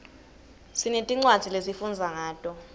sinetincwadzi lesifundza ngato